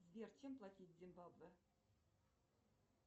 сбер чем платить в зимбабве